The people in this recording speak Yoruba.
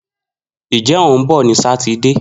Njẹ o hun bọ ni Sátidé.